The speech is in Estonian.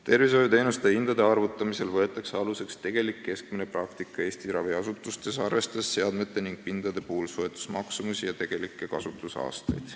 " Tervishoiuteenuste hindade arvutamisel võetakse aluseks tegelik keskmine praktika Eesti raviasutustes, arvestades seadmete ning pindade soetusmaksumust ja tegeliku kasutuse aastaid.